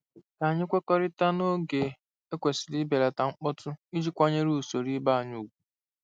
Ka anyị kwekọrịta n'oge e kwesịrị ibelata mkpọtụ iji kwanyere usoro ibe anyị ùgwù.